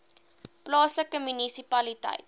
plaaslike munisipaliteit